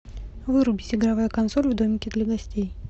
вырубить игровая консоль в домике для гостей